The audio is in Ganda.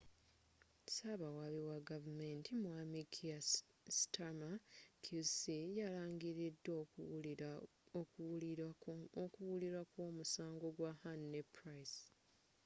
sabawabi wa gavumenti mwami kier starmer qc yalangilidde okuwulirwa kw'omusango gwa huhne ne pryce